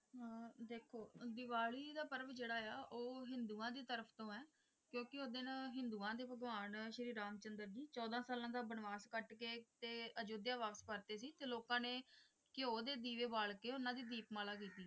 ਦੇਖੋ ਦੀਵਾਲੀ ਦਾ ਪਰਵ ਜਿਹੜਾ ਹੈ ਉਹ ਹਿੰਦੂਆਂ ਦੇ ਤਰਫ ਤੋਂ ਹੈ ਕਿਉਂਕਿ ਉਸ ਦਿਨ ਹਿੰਦੂਆਂ ਦੇ ਭਗਵਾਨ ਸ਼੍ਰੀ ਰਾਮ ਚੰਦਰ ਜੀ ਚੌਦਾਂ ਸਾਲਾਂ ਦਾ ਬਨਵਾਸ ਕੱਟ ਕੇ ਤੇ ਅਯੁਧਿਆ ਵਾਪਿਸ ਪਰਤੇ ਸੀ ਤੇ ਲੋਕਾਂ ਨੇ ਘਿਓ ਦੇ ਦੀਵੇ ਬਾਲ ਕੇ ਉਨ੍ਹਾਂ ਦੀ ਦੀਪਮਾਲਾ ਕੀਤੀ।